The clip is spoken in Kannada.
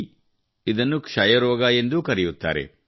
ಬಿ ಇದನ್ನು ಕ್ಷಯರೋಗ ಎಂದೂ ಕರೆಯುತ್ತಾರೆ